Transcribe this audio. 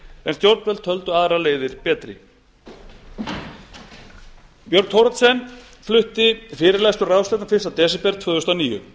en stjórnvöld töldu aðrar leiðir betri björg thoroddsen flutti fyrirlestur á ráðstefnu fyrsta desember tvö þúsund og níu